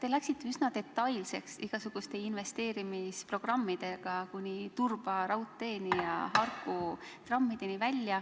Te läksite üsna detailseks igasuguste investeerimisprogrammide nimetamisel, kuni Turba raudtee ja Harku trammideni välja.